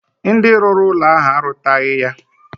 Ndi ruru ulo ahu arutaghi ya.